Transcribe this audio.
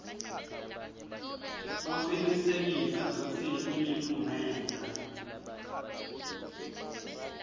kucinisekisa kutsi imiphumela